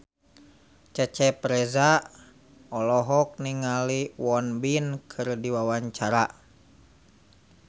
Cecep Reza olohok ningali Won Bin keur diwawancara